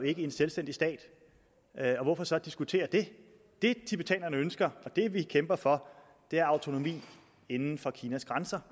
ikke en selvstændig stat og hvorfor så diskutere det det tibetanerne ønsker og det vi kæmper for er autonomi inden for kinas grænser